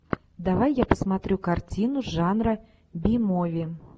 давай я посмотрю картину жанра би мови